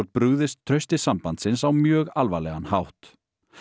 brugðist trausti sambandsins á mjög alvarlegan hátt